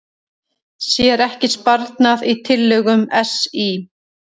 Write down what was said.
Sér ekki sparnað í tillögum SÍ